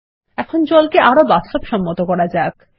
এখন জল কে আরো বাস্তবসম্মত করা যাক